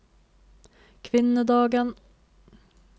kvinnedagen